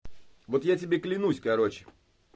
вот я тебе клянусь короче